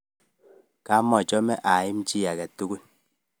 Kamochome aimi chi age tugul